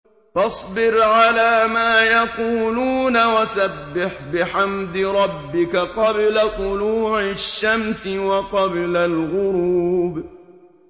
فَاصْبِرْ عَلَىٰ مَا يَقُولُونَ وَسَبِّحْ بِحَمْدِ رَبِّكَ قَبْلَ طُلُوعِ الشَّمْسِ وَقَبْلَ الْغُرُوبِ